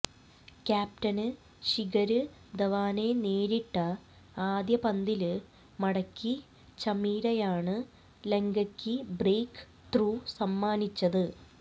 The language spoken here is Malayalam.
ക്യാപ്റ്റന് ശിഖര് ധവാനെ നേരിട്ട ആദ്യ പന്തില് മടക്കി ചമീരയാണ് ലങ്കക്ക് ബ്രേക്ക് ത്രൂ സമ്മാനിച്ചത്